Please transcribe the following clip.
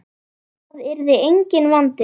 Það yrði enginn vandi.